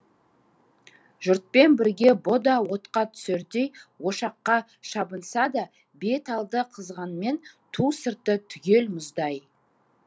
жұртпен бірге бұ да отқа түсердей ошаққа шабынса да бет алды қызғанмен ту сырты түгел мұздай